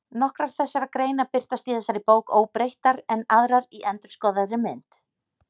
Nokkrar þessara greina birtast í þessari bók óbreyttar en aðrar í endurskoðaðri mynd.